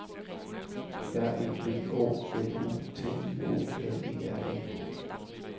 R E V O L U T I O N E R E